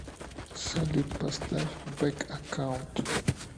салют поставь бэк аккаунт